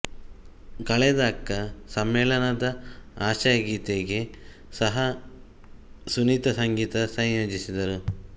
ಕಳೆದ ಅಕ್ಕ ಸಮ್ಮೇಳನದ ಆಶಯ ಗೀತೆಗೆ ಸಹಾ ಸುನೀತಾ ಸಂಗೀತ ಸಂಯೋಜಿಸಿದ್ದರು